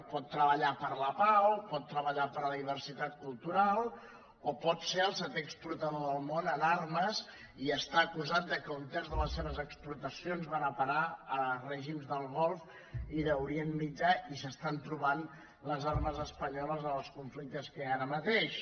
pot treballar per la pau pot treballar per la diversitat cultural o pot ser el setè exportador del món en armes i estar acusat que un terç de les seves exportacions van a parar a règims del golf i d’orient mitjà i s’estan trobant les armes espanyoles en els conflictes que hi ha ara mateix